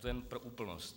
To jen pro úplnost.